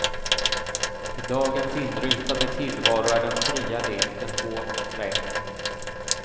I dagens inrutade tillvaro är den fria leken hårt trängd.